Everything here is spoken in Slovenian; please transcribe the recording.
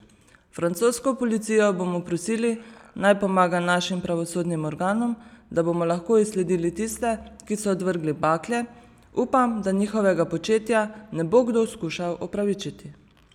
Francosko policijo bomo prosili, naj pomaga našim pravosodnim organom, da bomo lahko izsledili tiste, ki so odvrgli bakle, upam, da njihovega početja ne bo kdo skušal opravičiti.